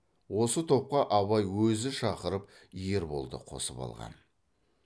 осы топқа абай өзі шақырып ерболды қосып алған